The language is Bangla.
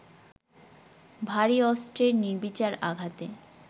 ভারী অস্ত্রের নির্বিচার আঘাতে